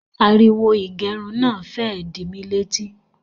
Ariwo ìgẹrun náà fẹ́ ẹ di mí létí